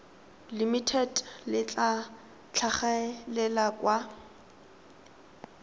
limited le tla tlhagelela kwa